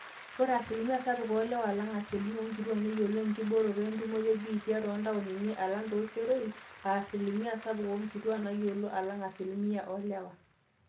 are asilimia sapuk oolewa alang asilimia oonkituaak neyiolo enkibooroto entumoto ebiitia toontaoni alang tooseroi aa asilimia sapuk oonkituuak nayiolo alang asilimia oolewa